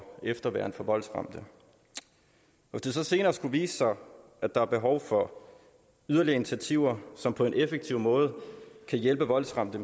efterværn for voldsramte hvis det så senere skulle vise sig at der er behov for yderligere initiativer som på en effektiv måde kan hjælpe voldsramte